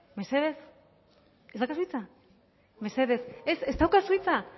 ez daukazu hitza